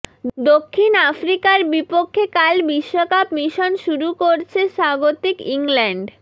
দক্ষিণ আফ্রিকার বিপক্ষে কাল বিশ্বকাপ মিশন শুরু করছে স্বাগতিক ইংল্যান্ড